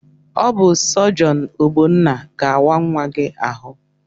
Ọ bụ sọjọn Ogbonna ga-awa nwa gị ahụ.